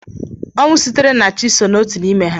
Ọnwụ sitere na Chi so n'otu n'ime ha